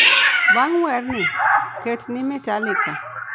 bang' werni, ket ni Metallica